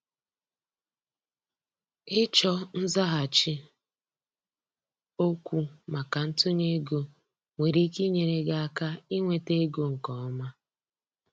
ịchọ nzaghachi okwu maka ntunye ego nwere ike inyere gị aka inweta ego nke ọma.